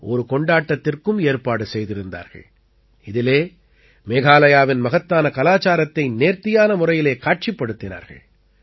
ஒரு கொண்டாட்டத்திற்கும் ஏற்பாடு செய்திருந்தார்கள் இதிலே மேகாலயாவின் மகத்தான கலாச்சாரத்தை நேர்த்தியான முறையிலே காட்சிப்படுத்தினார்கள்